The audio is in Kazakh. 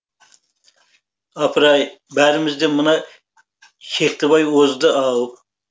апыр ай бәрімізден мына шектібай озды ау